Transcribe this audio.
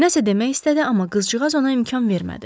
Nəsə demək istədi, amma qızcıqaz ona imkan vermədi.